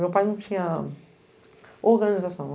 Meu pai não tinha... organização.